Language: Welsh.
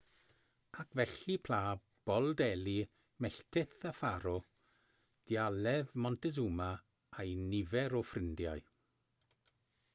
ac felly pla bol delhi melltith y ffaro dialedd montezuma a'u nifer o ffrindiau